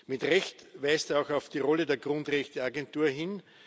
Mit Recht weist er auch auf die Rolle der Grundrechteagentur hin.